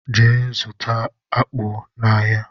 Gee zụta akpu na áhiá!!!!!